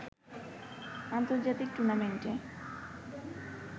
আন্তর্জাতিক টুর্নামেন্টে